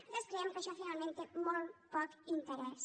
nosaltres creiem que això finalment té molt poc interès